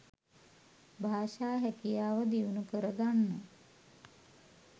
භාෂා හැකියාව දියුණු කරගන්න.